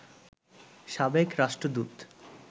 সাবেক রাষ্ট্রদূত